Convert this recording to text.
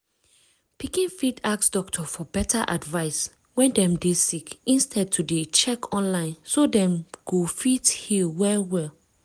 pikin fit ask doctor for better advice wen dem dey sick instead to dey check online so dem go fit heal well well